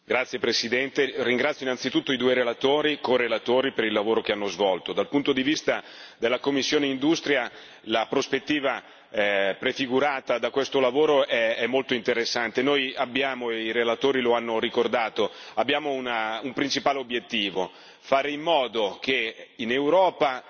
Signor Presidente, onorevoli colleghi, ringrazio anzitutto i due relatori, e i corelatori per il lavoro che hanno svolto. Dal punto di vista della commissione industria, la prospettiva prefigurata da questo lavoro è molto interessante. Noi abbiamo, i relatori lo hanno ricordato, un principale obiettivo, fare in modo che in Europa